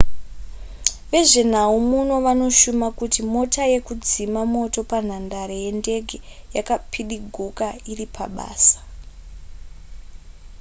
vezvenhau muno vanoshuma kuti mota yekudzima moto panhandare yendege yakapidiguka iri pabasa